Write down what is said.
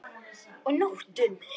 Og nóttum!